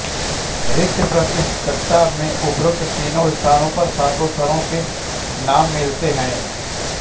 ऋक्प्रातिशाख्य में उपर्युक्त तीनों स्थानों और सातों स्वरों के नाम मिलते हैं